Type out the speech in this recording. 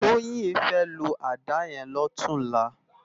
Toyin fè ló àdá yèn lòtúnlá